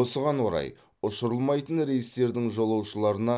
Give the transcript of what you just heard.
осыған орай ұшырылмайтын рейстердің жолаушыларына